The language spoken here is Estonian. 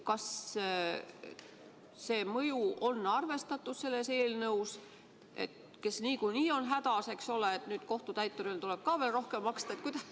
Kas seda mõju on selles eelnõus arvestatud, et need, kes niikuinii on hädas, eks ole, peavad edaspidi ka kohtutäiturile veel rohkem maksma?